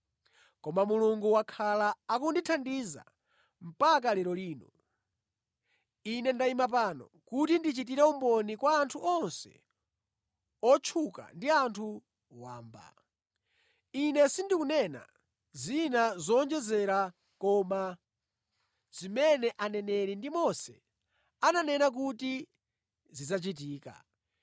Koma Mulungu wakhala akundithandiza mpaka lero lino. Ine ndayima pano kuti ndichitire umboni kwa anthu onse otchuka ndi anthu wamba. Ine sindikunena zina zowonjezera koma zimene Aneneri ndi Mose ananena kuti zidzachitika.